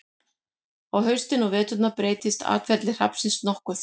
á haustin og veturna breytist atferli hrafnsins nokkuð